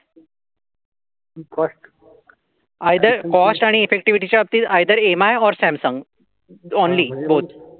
Either cost आणि effectivity च्या बाबतीत either M I or Samsung only both